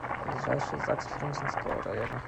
ближайший загс фрунзенского района